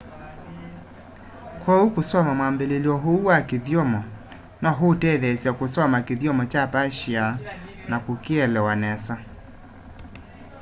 kwoou kusoma mwambiliilyo uũ wa kĩthyomo no uũtetheesye kusoma kĩthyomo cha persia na kukielewa nesa